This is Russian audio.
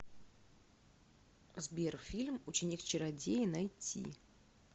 сбер фильм ученик чародея найти